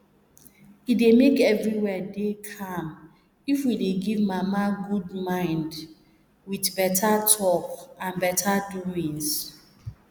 e dey make everywhere dey calm if we dey give mama good mind with beta talk and beta doings